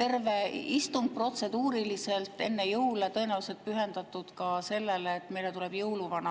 terve istung protseduuriliselt enne jõule tõenäoliselt pühendatud sellele, et meile tuleb jõuluvana.